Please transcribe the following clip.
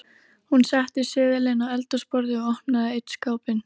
Hún setti seðilinn á eldhúsborðið og opnaði einn skápinn.